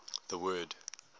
the word